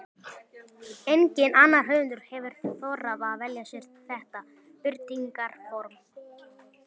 Enginn annar höfundur hefur þorað að velja sér þetta birtingarform.